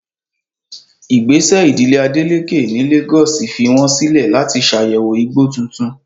Ìgbésẹ̀ ìdílé Adeleke ní Lagos fi wọ́n sílẹ̀ láti ṣàyẹ̀wò igbó tuntun.